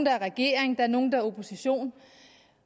er i regering der er nogle der er i opposition